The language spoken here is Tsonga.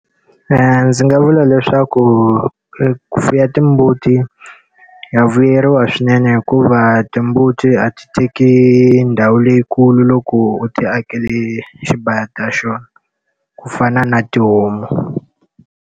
Ndzi nga vula leswaku ku fuwa timbuti wa vuyeriwa swinene hikuva timbuti a ti teki ndhawu leyikulu loko u ti akele xibaya ta xona. Ku fana na tihomu.